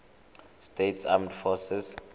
states armed forces